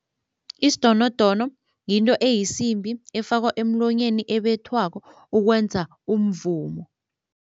Isidonodono yinto eyisimbi efakwa emlonyeni ebethwako ukwenza umvumo.